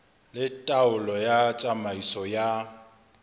le taolo ya tsamaiso ya